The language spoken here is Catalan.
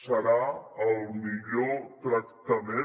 serà el millor tractament